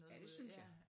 Ja det synes jeg